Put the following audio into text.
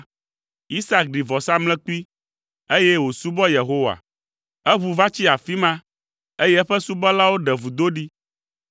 Isak ɖi vɔsamlekpui, eye wòsubɔ Yehowa. Eʋu va tsi afi ma, eye eƒe subɔlawo ɖe vudo ɖi.